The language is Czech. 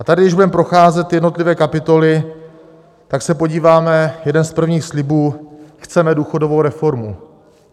A tady když budeme procházet jednotlivé kapitoly, tak se podíváme - jeden z prvních slibů: chceme důchodovou reformu.